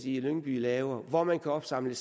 i lyngby laver hvor man kan opsamle